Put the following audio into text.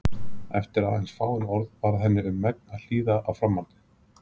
Eftir aðeins fáein orð varð henni um megn að hlýða á framhaldið.